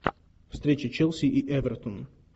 встреча челси и эвертона